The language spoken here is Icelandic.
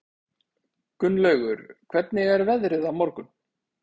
Gunnlaugur, hvernig er veðrið á morgun?